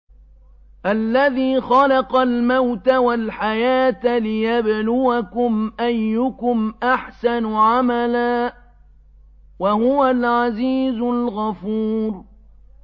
الَّذِي خَلَقَ الْمَوْتَ وَالْحَيَاةَ لِيَبْلُوَكُمْ أَيُّكُمْ أَحْسَنُ عَمَلًا ۚ وَهُوَ الْعَزِيزُ الْغَفُورُ